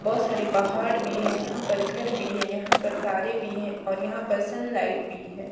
बहोत सारे पहाड़ भी हैं यहां पर घर भी हैं यहां पर तारे भी हैं और यहां पर सनलाइट भी है।